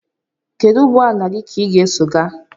Kedu ụgbọ ala gị ka ị ga-eso gaa?